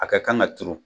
A ka kan ka turu